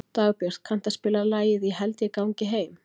Dagbjörg, kanntu að spila lagið „Ég held ég gangi heim“?